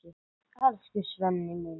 Elsku Svenni minn.